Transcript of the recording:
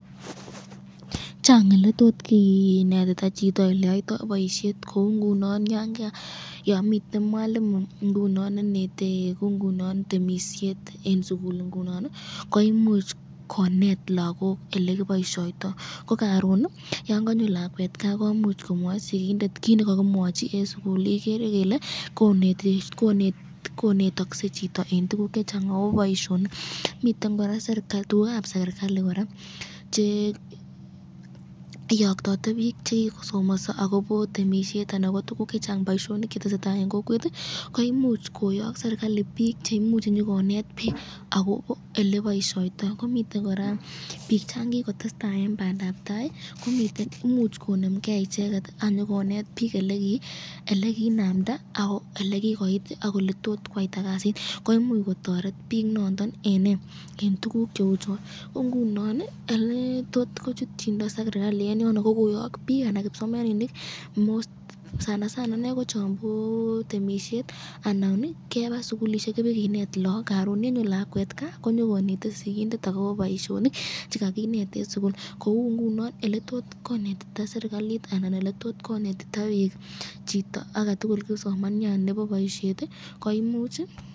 Chang eletot kinetita chito eleyoito boisyeti kou ngunon yon miten mwalimu ingunon nenete temisyet eng sukul ingunon ii koimuch konet logot elekiboishoyto ko karon ii yon kanyor lakwet kaa komuch komwai sigindet ki nekakimwochi eng sukul igere Ile konetakse chito eng tukuk chechang akobo boisyonik ,miten koraa tukukab serikali, cheiyoktate bik chekikosomaso akobo temisyet anan ko tukuk chechang, boisyonik chetesetai eng kokwet, koimuch koyok serikali konyokonet bik akobo eleboisyoto ,akomiten koraa bik changikotestai eng bandab tai, koimuch konemgen icheket anyikonet bik ,elekinamda akoelekikoit ii, ak eletot kwaiyta kasit, imuch kotoret bik noton eng tukuk cheuchon .